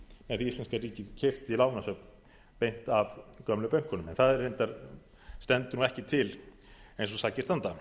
ef íslenska ríkið keypti lánasöfn beint af gömlu bönkunum en það reyndar stendur ekki til eins og sakir standa